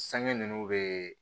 Sange ninnu bɛ